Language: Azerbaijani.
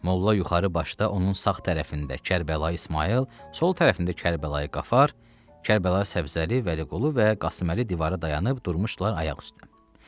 Molla yuxarı başda, onun sağ tərəfində Kərbəlayı İsmayıl, sol tərəfində Kərbəlayı Qafar, Kərbəlayı Səbzəli, Vəliqulu və Qasıməli divara dayanıb durmuşdular ayaq üstə.